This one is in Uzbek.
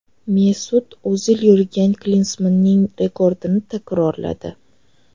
Mesut O‘zil Yurgen Klinsmanning rekordini takrorladi.